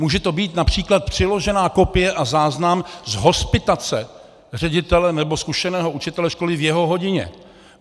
Může to být například přiložená kopie a záznam z hospitace ředitele nebo zkušeného učitele školy v jeho hodině.